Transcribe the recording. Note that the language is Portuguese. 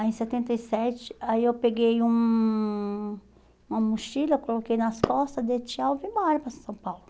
Aí em setenta e sete, aí eu peguei um uma mochila, coloquei nas costas, dei tchau e fui embora para São Paulo.